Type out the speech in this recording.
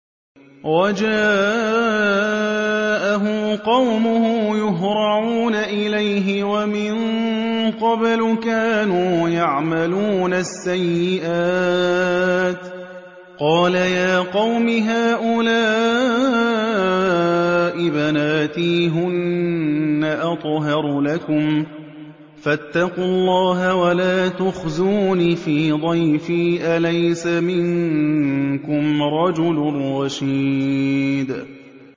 وَجَاءَهُ قَوْمُهُ يُهْرَعُونَ إِلَيْهِ وَمِن قَبْلُ كَانُوا يَعْمَلُونَ السَّيِّئَاتِ ۚ قَالَ يَا قَوْمِ هَٰؤُلَاءِ بَنَاتِي هُنَّ أَطْهَرُ لَكُمْ ۖ فَاتَّقُوا اللَّهَ وَلَا تُخْزُونِ فِي ضَيْفِي ۖ أَلَيْسَ مِنكُمْ رَجُلٌ رَّشِيدٌ